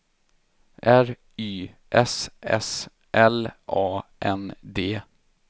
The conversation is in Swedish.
R Y S S L A N D